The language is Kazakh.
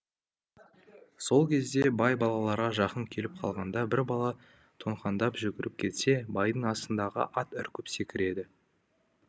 сол кезде бай балаларға жақын келіп қалғанда бір бала тоңқаңдап жүгіріп кетсе байдың астындағы ат үркіп секіреді